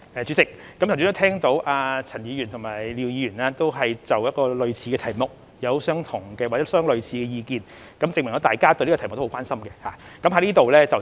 主席，剛才陳議員和廖議員均就類似的題目表達相似的意見，證明大家都很關心這個題目。